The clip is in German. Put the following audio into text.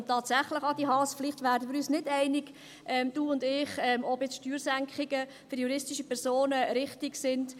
Und tatsächlich, Adi Haas, vielleicht werden wir uns nicht einig, du und ich, ob jetzt Steuersenkungen für juristische Personen richtig sind.